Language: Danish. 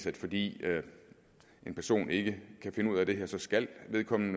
at fordi en person ikke kan finde ud af det her så skal vedkommende